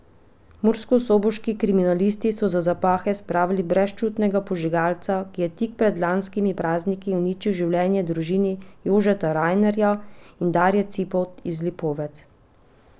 Murskosoboški kriminalisti so za zapahe spravili brezčutnega požigalca, ki je tik pred lanskimi prazniki uničil življenje družini Jožeta Rajnerja in Darje Cipot iz Lipovcev.